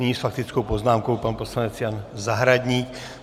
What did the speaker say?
Nyní s faktickou poznámkou pan poslanec Jan Zahradník.